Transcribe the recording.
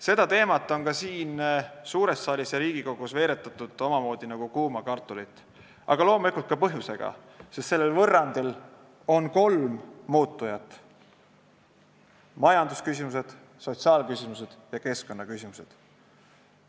Seda teemat on siin suures saalis ja Riigikogus veeretatud omamoodi nagu kuuma kartulit, aga loomulikult ka põhjusega, sest sellel võrrandil on kolm muutujat: majandusküsimused, sotsiaalküsimused ja keskkonnaküsimused.